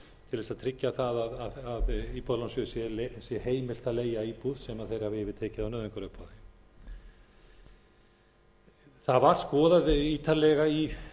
til þess að tryggja á að íbúðalánasjóði sé heimilt a leigja íbúð sem þeir hafi yfirtekið á nauðungaruppboði það var skoðað ítarlega í